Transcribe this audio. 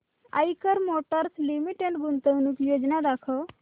Eicher motors limited गुंतवणूक योजना दाखव